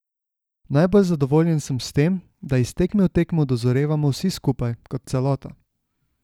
Najbolj zadovoljen sem s tem, da iz tekme v tekmo dozorevamo vsi skupaj, kot celota.